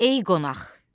Ey qonaq!